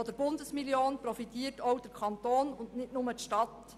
Von der Bundesmillion profitiert auch der Kanton, nicht nur die Stadt.